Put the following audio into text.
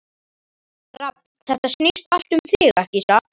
Rafn, þetta snýst allt um þig, ekki satt?